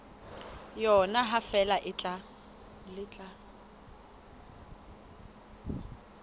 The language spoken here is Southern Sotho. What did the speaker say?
yona ha feela le tla